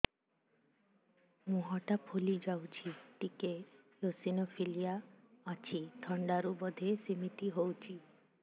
ମୁହଁ ଟା ଫୁଲି ଯାଉଛି ଟିକେ ଏଓସିନୋଫିଲିଆ ଅଛି ଥଣ୍ଡା ରୁ ବଧେ ସିମିତି ହଉଚି